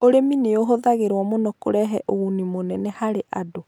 Ũrĩmi nĩ ũhũthagĩrũo mũno kũrehe ũguni mũnene harĩ andũ